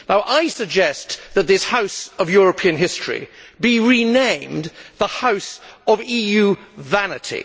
I suggest that this House of European History be renamed the House of EU Vanity.